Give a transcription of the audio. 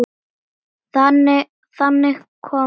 Þannig kom Lísa.